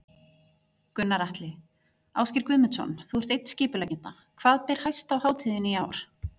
Gunnar Atli: Ásgeir Guðmundsson, þú ert einn skipuleggjenda, hvað ber hæst á hátíðinni í ár?